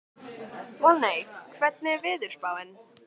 Voney, hvernig er veðurspáin?